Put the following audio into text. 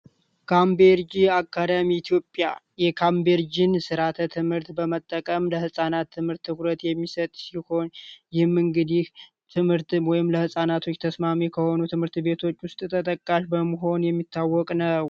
ካምቤርጂን አካዳሚ ኢትዮጵያ የካምቤርጂን የትምህርት ስርአት በመጠቀም ለህፃናት ትምህርት ተኩረት የሚሰጥ ሲሆን ይህም ለህፃነት ተስማሚ ከሆኑ ትምህርት ቤቶች ውስጥ ተጠቃሽ በመሆን የሚታወቅ ነው።